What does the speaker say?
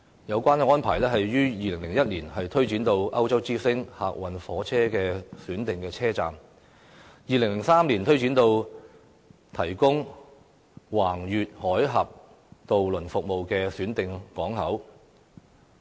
有關安排於2001年推展至歐洲之星客運火車的選定車站 ，2003 年更推展至提供橫越海峽渡輪服務的選定港口。